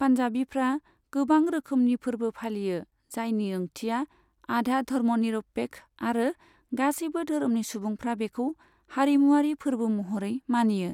पन्जाबीफ्रा गोबां रोखोमनि फोरबो फालियो, जायनि ओंथिया आधा धर्मनिरपेक्ष आरो गासैबो धोरोमनि सुबुंफ्रा बेखौ हारिमुआरि फोरबो महरै मानियो।